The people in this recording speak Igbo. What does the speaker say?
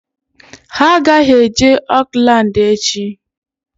Ha agaghị eje Oakland echi!